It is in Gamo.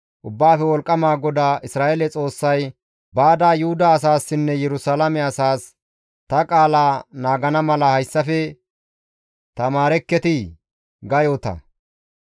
Ubbaafe Wolqqama GODAA Isra7eele Xoossay, «Baada Yuhuda asaassinne Yerusalaame asaas, ‹Ta qaala naagana mala hayssafe tamaarekketii?› ga yoota.